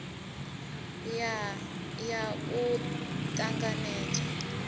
ya r ya u ṱanganedzwa